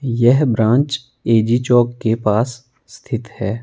यह branch A G चौक के पास स्थित है।